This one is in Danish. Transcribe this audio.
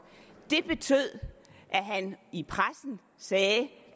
det betød at han i pressen sagde